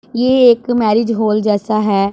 ये एक marriage hall जैसा है।